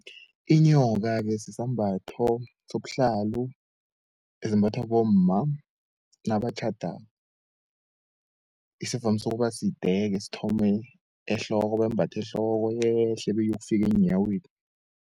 Inyoka-ke sisambatho sobuhlalo esimbathwa bomma nabatjhadako, esivamise ukuba side-ke sthome ehloko bembathe ehloko yehle beyokufike eenyaweni.